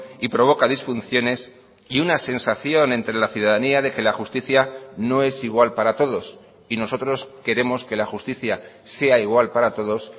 y provoca disfunciones y una sensación entre la ciudadanía de que la justicia no es igual para todos y nosotros queremos que la justicia sea igual para todos